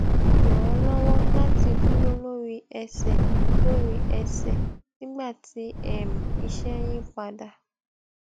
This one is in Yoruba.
ràn án lówó láti dúró lórí ẹsè lórí ẹsè nígbà tí um iṣé ń yí padà